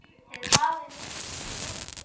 Þið hafið misst mikið.